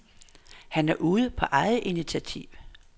Han er ude på eget initiativ.